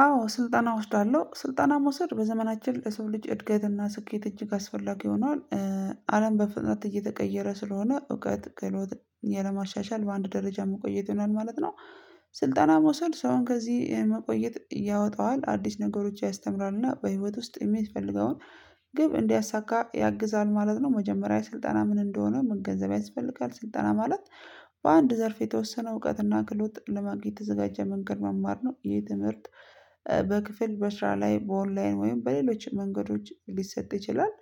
አዎ ስልጠና እወስዳለሁ ስልጠና መውሰድ በዘመናችን ለሰው ልጅ እድገትና ስኬት እጅግ አስፈላጊ ሆኗል አለም በፍጥነት እየተቀየረ ስለሆነ እውቀት ክህሎት ያለማሻሻል በአንድ ደረጃ መቆየት ይሆናል ማለት ነው። ስልጠና መውሰድ ሰውን ከዚህ መቆየት ያወጣዋል አዲስ ነገሮች ያስተምራልና በህይወት ውስጥ የሚፈልገውን ግብ እንዲያሳካ ያግዛል ማለት ነው መጀመሪያ ስልጠና ምን እንደሆነ መገንዘብ ያስፈልጋል ስልጠና ማለት። በአንድ ዘርፍ የተወሰነ እውቀትና ክሎት ለማግኘት የተዘጋጀ መንገድ መማር ነው ይሄ የትምህርት በክፍል በስራ ላይ በኦንላይን ወይም በሌሎች መንገዶች ሊሰጥ ይችላል።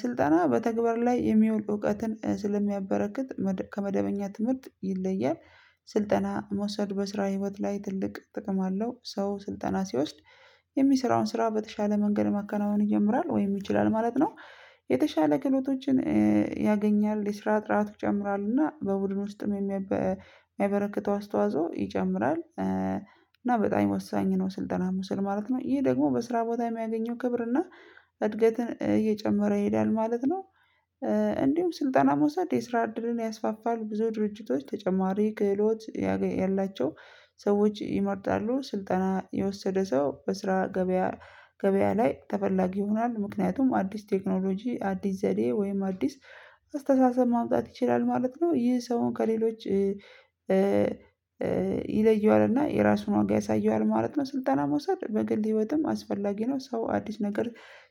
ስልጠና በተግባር ላይ የሚውል እውቀትን ስለሚያበረክት ከመደበኛ ትምህርት ይለያል። ስልጠና መውሰድ በስራ ህይወት ላይ ትልቅ ጥቅም አለው። ሰው ስልጠና ሲወስድ የሚሰራውን ስራ በተሻለ መንገድ መከናወን ይጀምራል ወይም ይችላል ማለት ነው። የተሻለ ክህሎቶችን ያገኛል የስራ ጥራት ይጨምራልና በቡድን ውስጥም የሚበረክተው አስተዋጽኦ ይጨምራል። እና በጣም ወሳኝ ነው። ስልጠና መውሰድ ማለት ነው ይሄ ደግሞ በስራ ቦታ የሚያገኘው ክብር እና እድገትን እየጨመረ ይሄዳል ማለት ነው። እንዲሁም ስልጠና መውሰድ የስራ ዕድልን ያስፋፋል። ብዙ ድርጅቶች ተጨማሪ ክህሎት ያላቸው ሰዎች ይመርጣሉ ስልጠና የወሰደ ሰው በስራ ገበያ ገበያ ላይ ተፈላጊ ይሆናል። ምክንያቱም አዲስ ቴክኖሎጂ አዲስ ዘዴ ወይም አዲስ አስተሳሰብ ማምጣት ይችላል ማለት ነው። ይህ ሰውን ከሌሎች ይለየዋል እና የራሱን ዋጋ ያሳየዋል ማለት ነው። ስልጠና መውሰድ በግል ህይወትም አስፈላጊ ነው። ሰው አዲስ ነገር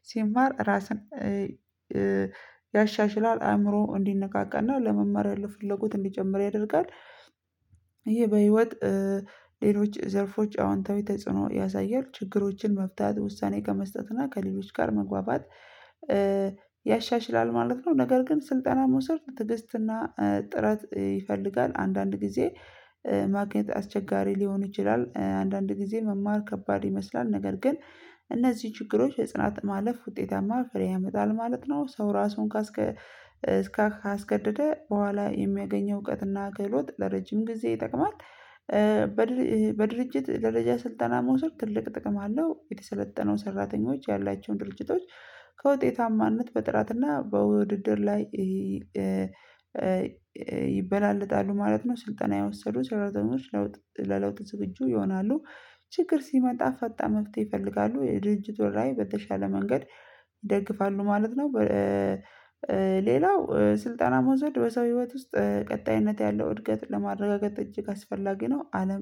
ሲማር ራስን ያሻሽላል አእምሮ እንዲነቃቃና ለመመር ያለው ፍለጎት እንዲጨምር ያደርጋል። ይሄ በህይወት ሌሎች ዘርፎች አዎንታዊ ተጽዕኖ ያሳያል። ችግሮችን መፍታት ውሳኔ ከመስጠት እና ከሌሎች ጋር መግባባት ያሻሽላል ማለት ነው። ነገር ግን ስልጠና መውሰድ ትግስትና ጥረት ይፈልጋል። አንዳንድ ጊዜ ማግኘት አስቸጋሪ ሊሆን ይችላል። አንዳንድ ጊዜ መማር ከባድ ይመስላል ነገር ግን እነዚህ ችግሮች የጽናት ማለፍ ውጤታማ ፍሬ ያመጣል ማለት ነው። ሰው ራሱን ካስገ እስከ ካስገደደ በኋላ የሚያገኘው እውቀትና ክህሎት ለረጅም ጊዜ ይጠቅማል። በድርጅት ደረጃ ስልጠና መውሰድ ትልቅ ጥቅም አለው። የተሰለጠነው ሰራተኞች ያላቸውን ድርጅቶች ከውጤታማነት በጥራትና በውድድር ላይ ይበላለጣሉ ማለት ነው። ስልጠና የወሰዱ ሰራተኞች ለውጥ ለለውጥ ዝግጁ ይሆናሉ። ችግር ሲመጣ ፈጣን መፍትሄ ይፈልጋሉ የድርጅቱ ላይ በተሻለ መንገድ ይደግፋሉ ማለት ነው። ሌላው ስልጠና መውሰድ በሰው ህይወት ውስጥ ቀጣይነት ያለው እድገት ለማረጋገጥ እጅግ አስፈላጊ ነው። አለም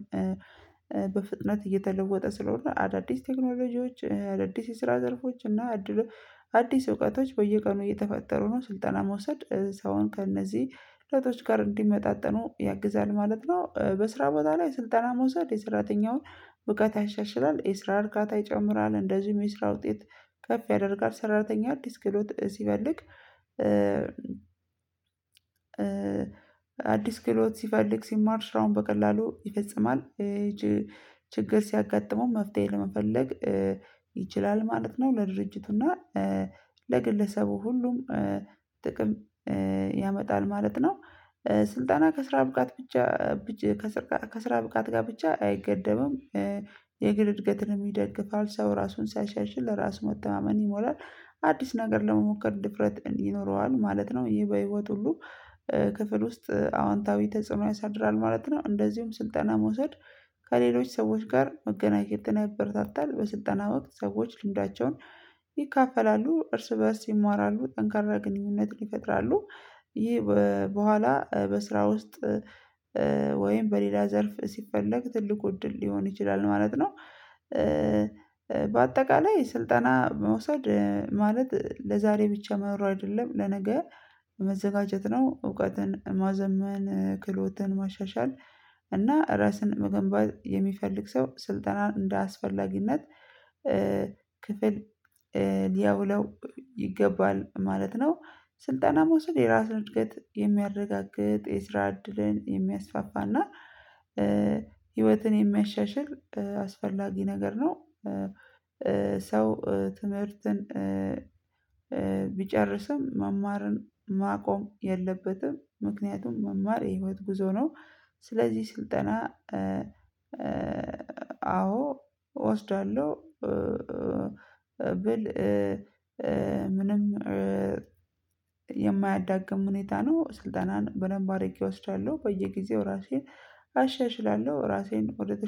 በፍጥነት እየተለወጠ ስለሆነ አዳዲስ ቴክኖሎጂዎች ለ አዳድስ የስራ ዘርፎች እና እድሎች አዲስ እውቀቶች በየቀኑ እየተፈጠሩ ነው። ስልጠና መውሰድ ሰውን ከእነዚህ ለውጦች ጋር እንዲመጣጠኑ ያግዛል ማለት ነው። በስራ ቦታ ላይ ስልጠና መውሰድ የሰራተኛውን እውቀት ያሻሽላል የስራ እርካታ ይጨምራል እንደዚሁም የስራ ውጤት ከፍ ያደርጋል። ሰራተኛ አዲስ ክህሎት ሲፈልግ አዲስ ክሎት ሲፈልግ ሲማር ስራውን በቀላሉ ይፈጽማል። ችግር ሲያጋጥመው መፍትሄ ለመፈለግ ይችላል ማለት ነው። ለድርጅቱና ለግለሰቡ ሁሉም ጥቅም ያመጣል ማለት ነው። ስልጣና ከስራ ብቃት ብቻ ከስራ ብቃት ጋር ብቻ አይገደብም። የግል እድገትን ይደግፋል ሰው ራሱን ሲያሻሽል ራስ መተማመን ይሞላል አዲስ ነገር ለመሞከር ድፍረት ይኖረዋል ማለት ነው። ይሄ በህይወት ሁሉ ክፍል ውስጥ አዎንታዊ ተጽዕኖ ያሳድራል ማለት ነው። እንደዚሁም ስልጠና መውሰድ ከሌሎች ሰዎች ጋር መገናኘትን ያበረታታል። በስልጠና ወቅት ሰዎች ልምዳቸውን ይካፈላሉ እርስ በእርስ ይማራሉ ጠንካራ ግንኙነትን ይፈጥራሉ። ይሄ በኋላ በስራ ውስጥ ወይም በሌላ ዘርፍ ሲፈለግ ትልቁ እድል ሊሆን ይችላል ማለት ነው። በአጠቃላይ ስልጠና መውሰድ ማለት ለዛሬ ብቻ መኖር አይደለም ለነገ መዘጋጀት ነው። እውቀትን ማዘመን ክህሎትን ማሻሻል እና ራስን መገንባት የሚፈልግ ሰው ስልጠናን እንደ አስፈላጊነት ክፍል ሊያውላው ይገባል ማለት ነው። ስልጣና መውሰድ የራስን እድገት የሚያረጋግጥ የስራ እድልን የሚያስፋፋና ህይወትን የሚያሻሽል አስፈላጊ ነገር ነው። ሰው ትምህርትን ቢጨርስም መማርን ማቆም የለበትም ምክንያቱም መማር የህይወት ጉዞ ነው። ስለዚህ ስልጠና አዎ እወስዳለሁ ብል ምንም የማያዳግም ሁኔታ ነው። ስልጠናን በደንብ አድርጌ እወስዳለሁ በየጊዜው ራሴን አሻሽላለሁ። ራሴን ወደተሻለ